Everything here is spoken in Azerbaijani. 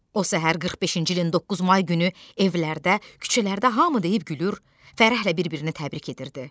O səhər 45-ci ilin 9 may günü evlərdə, küçələrdə hamı deyib gülür, fərəhlə bir-birini təbrik edirdi.